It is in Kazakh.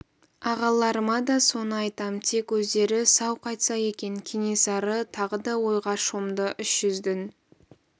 ағаларыма да соны айтам тек өздері сау қайтса екен кенесары тағы да ойға шомды үш жүздің